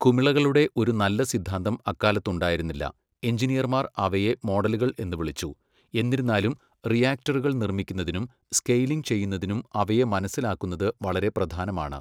കുമിളകളുടെ ഒരു നല്ല സിദ്ധാന്തം അക്കാലത്ത് ഉണ്ടായിരുന്നില്ല, എഞ്ചിനീയർമാർ അവയെ മോഡലുകൾ എന്ന് വിളിച്ചു, എന്നിരുന്നാലും റിയാക്ടറുകൾ നിർമ്മിക്കുന്നതിനും സ്കെയിലിംഗ് ചെയ്യുന്നതിനും അവയെ മനസ്സിലാക്കുന്നത് വളരെ പ്രധാനമാണ്.